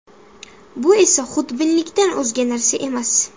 Bu esa xudbinlikdan o‘zga narsa emas.